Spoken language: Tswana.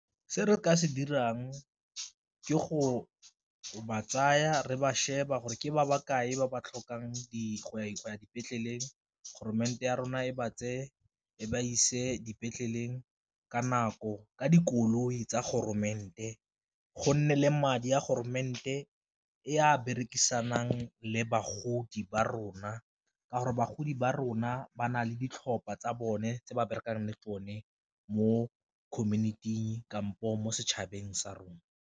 Se re ka se dirang ke go ba tsaya re ba sheba gore ke ba bakae ba ba tlhokang go ya dipetleleng ya rona e ba tse e ba ise dipetleleng ka nako, ka dikoloi tsa go nne le madi a e a berekisanang le bagodi ba rona ka gore bagodi ba rona ba na le ditlhopha tsa bone tse ba berekang le tsone mo community-ing kampo mo setšhabeng sa rona.